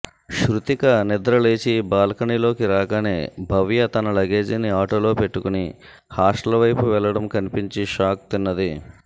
శృతిక నిద్రలేచి బాల్కనీలోకి రాగానే భవ్య తన లగేజిని ఆటోలో పెట్టుకొని హాస్టల్ వైపు వెళ్లటం కన్పించి షాక్ తిన్నది